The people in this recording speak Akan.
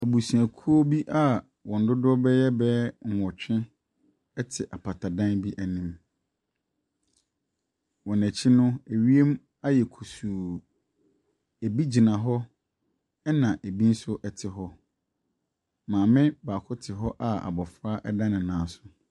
Abusuakuo bi a wɔn dodoɔ ɛbɛyɛ bɛyɛ nwɔtwe te mpatadan anim. Wɔn akyi no, wiem ayɛ kusuu. Ɛbi gyina hɔ ba ɛbi nso te hɔ. Maame baako te a abɔfra da ne nan so.